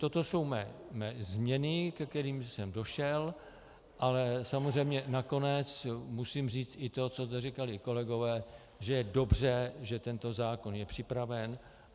Toto jsou mé změny, ke kterým jsem došel, ale samozřejmě nakonec musím říct i to, co zde říkali kolegové, že je dobře, že tento zákon je připraven.